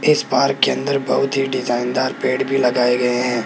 इस पार्क के अंदर बहुत ही डिजाइन दार पेड़ भी लगाए गए हैं।